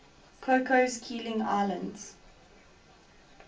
cocos keeling islands